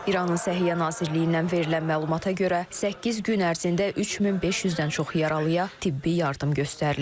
İranın Səhiyyə Nazirliyindən verilən məlumata görə, səkkiz gün ərzində 3500-dən çox yaralıya tibbi yardım göstərilib.